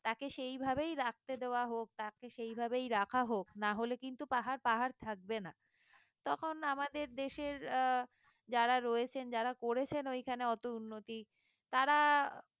তাকে সেই ভাবেই রাখতে দেওয়া হোক তাকে সেই ভাবেই রাখা হোক না হলে কিন্তু পাহাড় পাহাড় থাকবে না তখন আমাদের দেশের আহ যারা রয়েছেন যারা করেছেন ওইখানে অত উন্নতি তারা